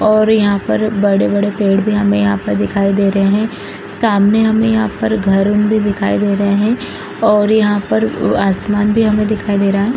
और यहां पर बड़े-बड़े पेड़ भी हमें यहां पर दिखाई दे रहे हैं सामने हमें यहां पर घर उन भी दिखाई दे रहे हैं और यहां पर आसमान भी हमें दिखाई दे रहा है।